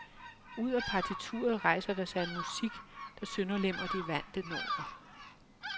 Ud af partituret rejser der sig en musik, der sønderlemmer de vante normer.